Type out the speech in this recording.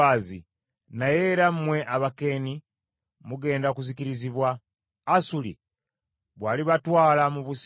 naye era mmwe Abakeeni mugenda kuzikirizibwa Asuli bw’alibatwala mu busibe.”